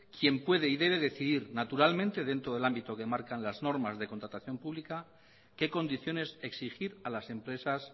quien puede y debe decidir naturalmente dentro del ámbito que marcan las normas de contratación pública qué condiciones exigir a las empresas